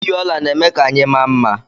iyi ọla na-eme ka anyị maa mma